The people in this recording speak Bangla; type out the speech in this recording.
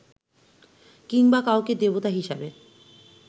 কিংবা কাউকে দেবতা হিসেবে